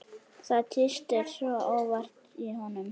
Það tístir óvart í honum.